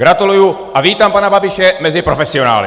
Gratuluji a vítám pana Babiše mezi profesionály.